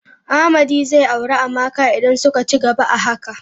Amadi zai auri Amaka idan suka cigaba a haka.